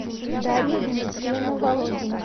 дарья дмитриевна володина